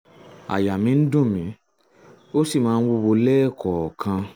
àyà mi ń dùn mí ó sì máa ń wúwo lẹ́ẹ̀kọ̀ọ̀kan